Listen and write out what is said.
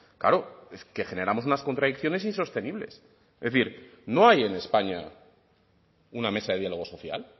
claro es que generamos unas contradicciones insostenibles es decir no hay en españa una mesa de diálogo social